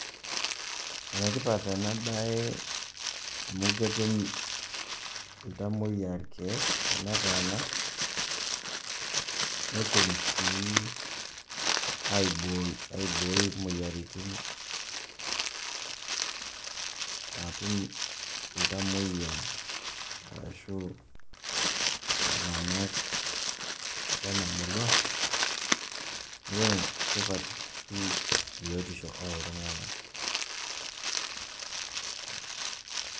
Enetipat ena baye amu ketum iltamoyia ilkeek tenetaana netum sii aibooi imoyiaritin [break] naatum iltamoyia arashu iltung'anak lena murua neeku enetipat pii biotisho oo iltung'anak.